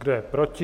Kdo je proti?